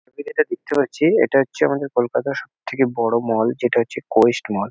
আমি যেটা দেখতে পাচ্ছি এটা হচ্ছে আমাদের কোলকাতার সব থেকে বড়ো মল যেটা হচ্ছে কোয়েস্ট মল ।